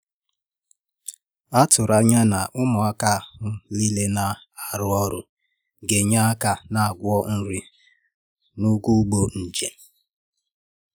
A tụ̀rụ̀ ànyà na ụmụàkà ndí ahụ̀ na-arụ́ ọrụ gā-ényè aka na ngwá nri na ụ̀gwọ̀ ùgbò njem.